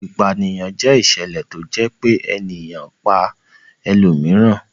Ìpanìyàn jẹ́ ìṣẹ̀lẹ̀ tó jẹ́ pé ènìyàn kan pa ẹlòmíràn.